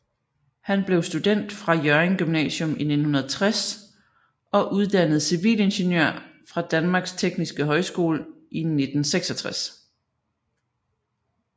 Han blev student fra Hjørring Gymnasium i 1960 og uddannet civilingeniør fra Danmarks Tekniske Højskole i 1966